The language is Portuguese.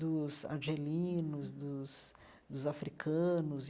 dos argelinos, dos dos africanos e.